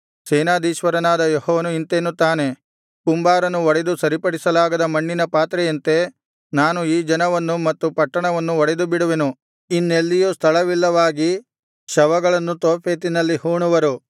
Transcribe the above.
ಸೇನಾಧೀಶ್ವರನಾದ ಯೆಹೋವನು ಇಂತೆನ್ನುತ್ತಾನೆ ಕುಂಬಾರನು ಒಡೆದು ಸರಿಪಡಿಸಲಾಗದ ಮಣ್ಣಿನ ಪಾತ್ರೆಯಂತೆ ನಾನು ಈ ಜನವನ್ನು ಮತ್ತು ಪಟ್ಟಣವನ್ನು ಒಡೆದುಬಿಡುವೆನು ಇನ್ನೆಲ್ಲಿಯೂ ಸ್ಥಳವಿಲ್ಲವಾಗಿ ಶವಗಳನ್ನು ತೋಫೆತಿನಲ್ಲಿ ಹೂಣುವರು